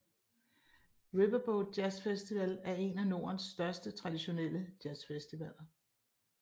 Riverboat Jazzfestival er en af nordens største traditionelle jazzfestivaler